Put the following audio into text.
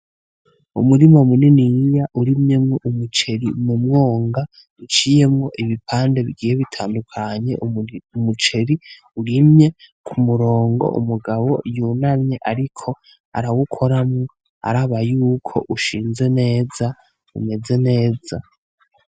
Umurima muniniya urimyemwo umuceri mumwonga uciyemwo ibipande bigiye bitandukanye ,umuceri urimye k'umurongo, umugabo yunamye ariko arawukoramwo araba y'uko ushinze neza, umeze neza.